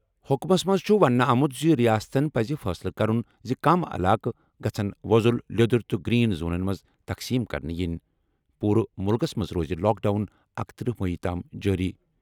حُکمَس منٛز چھُ وَننہٕ آمُت زِ ریاستَن پَزِ فٲصلہٕ کرُن زِ کَمَن علاقَن گژھِ وۄزُل، لیدرُ تہٕ گرین زونَن منٛز تقسیٖم کرنہٕ ینۍ۔ پوٗرٕ مُلکَس منٛز روزِ لاک ڈاوُن اکتٔرہ مئی تام جٲری۔